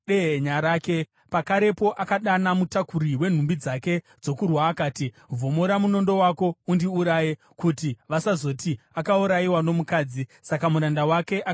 Pakarepo akadana mutakuri wenhumbi dzake dzokurwa akati, “Vhomora munondo wako undiuraye, kuti vasazoti, ‘Akaurayiwa nomukadzi.’ ” Saka muranda wake akamubaya akafa.